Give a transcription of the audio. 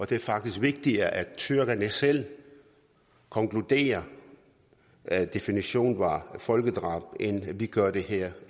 det er faktisk vigtigere at tyrkerne selv konkluderer at definitionen var folkedrab end at vi gør det her